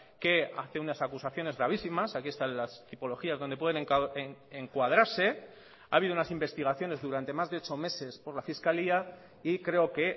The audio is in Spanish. que hace unas acusaciones gravísimas aquí están las tipologías donde pueden encuadrarse ha habido unas investigaciones durante más de ocho meses por la fiscalía y creo que